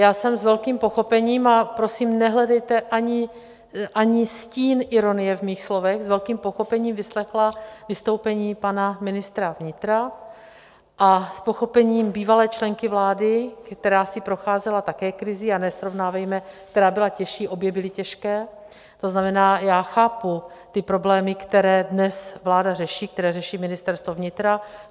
Já jsem s velkým pochopením, a prosím nehledejte ani stín ironie v mých slovech, s velkým pochopením vyslechla vystoupení pana ministra vnitra a s pochopením bývalé členky vlády, která si procházela také krizí, a nesrovnávejme, která byla těžší, obě byly těžké, to znamená, já chápu ty problémy, které dnes vláda řeší, které řeší Ministerstvo vnitra.